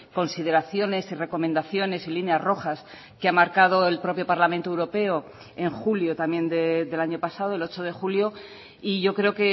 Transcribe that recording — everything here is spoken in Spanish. consideraciones y recomendaciones y líneas rojas que ha marcado el propio parlamento europeo en julio también del año pasado el ocho de julio y yo creo